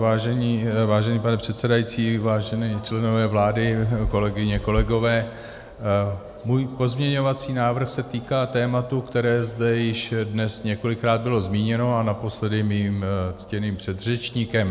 Vážený pane předsedající, vážení členové vlády, kolegyně, kolegové, můj pozměňovací návrh se týká tématu, které zde již dnes několikrát bylo zmíněno, a naposledy mým ctěným předřečníkem.